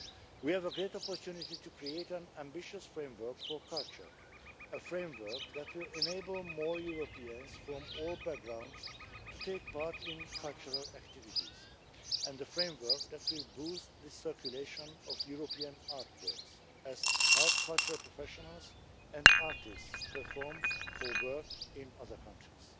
We have a great opportunity to create an ambitious framework for culture a framework that will enable more Europeans from all backgrounds to take part in cultural activities, and a framework that will boost the circulation of European artworks and help cultural professionals and artists perform or work in other countries.